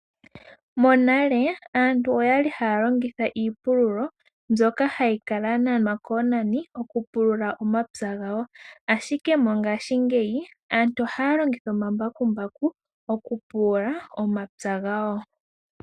Monale aantu oyali haya longitha iipululo mbyoka hayi kala ya nanwa koonani okupulula omapya gawo ashike mongashi ngeyi aantu ohaya longitha omambakumbaku okupulula omapya gawo.